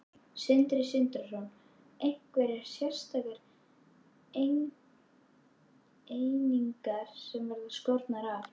Sindri Sindrason: Einhverjar sérstakar einingar sem verða skornar af?